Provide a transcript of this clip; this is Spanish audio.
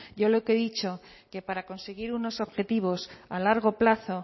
yo lo que he dicho que para conseguir unos objetivos a largo plazo